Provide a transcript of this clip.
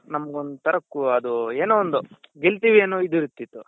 ನಮ್ಗೋಂತರ ಅದು ಏನೋ ಒಂದು ಗೆಲ್ತಿವಿ ಅನ್ನೋ ಇದ್ ಇರ್ತಿತ್ತು.